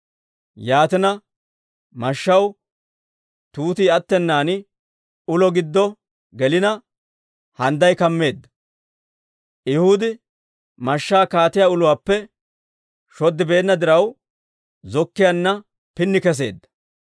Yaatina, mashshaw tuutii attennaan ulo giddo gelina, handday kammeedda. Ehuudi mashshaa kaatiyaa uluwaappe shoddibeenna diraw, zokkiyaanna kantsi keseedda.